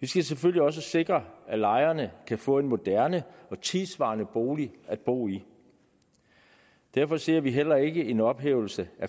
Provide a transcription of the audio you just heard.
vi skal selvfølgelig også sikre at lejerne kan få en moderne og tidssvarende bolig at bo i derfor ser vi heller ikke en ophævelse af